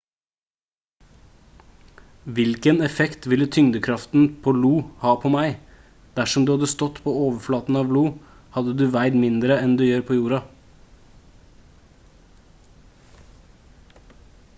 hvilken effekt ville tyngdekraften på io ha på meg dersom du hadde stått på overflaten av io hadde du veid mindre enn du gjør på jorda